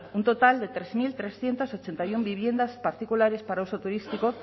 un total de trece mil trescientos ochenta y uno viviendas particulares para uso turístico